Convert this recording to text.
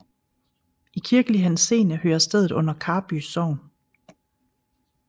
I kirkelig henseende hører stedet under Karby Sogn